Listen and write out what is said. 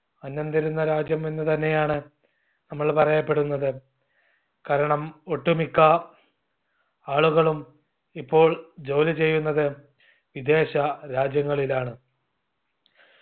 അന്നം തരുന്ന രാജ്യം എന്ന് തന്നെയാണ് നമ്മള് പറയപ്പെടുന്നത്. കാരണം ഒട്ടുമിക്ക ആളുകളും ഇപ്പോൾ ജോലിചെയ്യുന്നത് വിദേശ രാജ്യങ്ങളിലാണ്